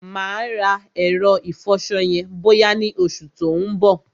Mà á rà ẹ̀rọ ìfọṣọ yẹn bọ́yá ni oṣù tí ó ń bọ̀.